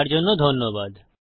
দেখার জন্য ধন্যবাদ